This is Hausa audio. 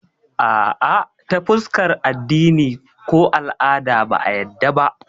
Ah ah, ta fuskar addini ko al'ada ba a yadda ba